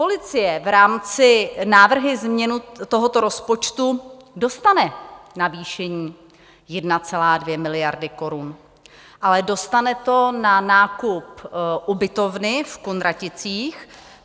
Policie v rámci návrhu změnu tohoto rozpočtu dostane navýšení 1,2 miliardy korun, ale dostane to na nákup ubytovny v Kunraticích.